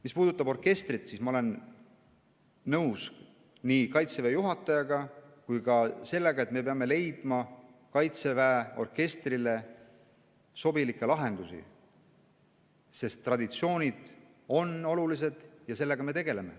Mis puudutab orkestrit, siis ma olen nõus nii Kaitseväe juhatajaga kui ka sellega, et me peame leidma Kaitseväe orkestrile sobilikke lahendusi, sest traditsioonid on olulised ja sellega me tegeleme.